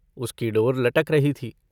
उसकी डोर लटक रही थी।